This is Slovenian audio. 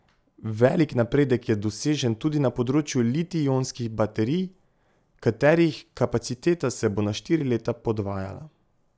Velik napredek je dosežen tudi na področju litij ionskih baterij, katerih kapaciteta se bo na štiri leta podvajala.